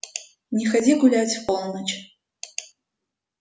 не ходи гулять в полночь